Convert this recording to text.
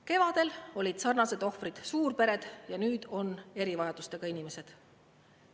Kevadel olid sarnased ohvrid suurpered, nüüd on erivajadustega inimesed.